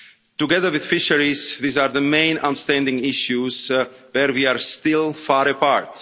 Together with fisheries, these are the main outstanding issues where we are still far apart.